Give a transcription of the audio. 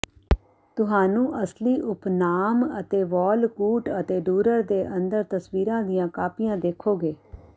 ਤੁਹਾਨੂੰ ਅਸਲੀ ਉਪਨਾਮ ਅਤੇ ਵੌਲਕੂਟ ਅਤੇ ਡੂਰਰ ਦੇ ਅੰਦਰ ਤਸਵੀਰਾਂ ਦੀਆਂ ਕਾਪੀਆਂ ਦੇਖੋਗੇ